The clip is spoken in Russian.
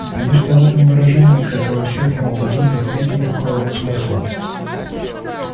конечно в этом выражении как и во всех ему подобных нет никакого смысла